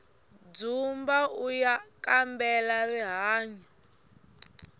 dzumba uya kambela rihanyu